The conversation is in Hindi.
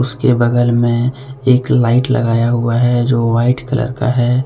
उसके बगल में एक लाइट लगाया हुआ है जो व्हाइट कलर का है।